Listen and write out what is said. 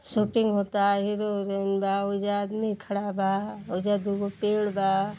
Shooting होता। Hero heroine बा। ओइजा आदमी खड़ा बा। ओइजा दूगो पेड़ बा।